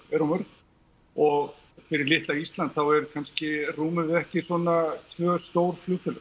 eru of mörg og fyrir litla Ísland þá kannski rúmum við ekki svona tvö stór flugfélög